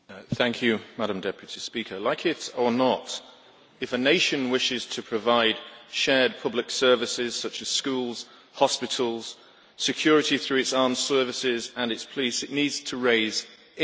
Madam President, like it or not, if a nation wishes to provide shared public services such as schools, hospitals and security through its armed services and its police, it needs to raise income.